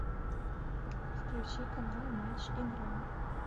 включи канал матч игра